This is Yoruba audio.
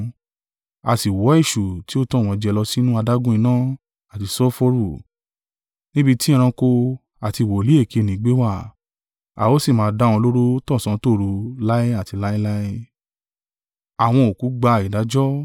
A sì wọ́ Èṣù tí ó tàn wọ́n jẹ lọ sínú adágún iná àti sulfuru, níbi tí ẹranko àti wòlíì èké nì gbé wà, a ó sì máa dá wọn lóró tọ̀sán tòru láé àti láéláé.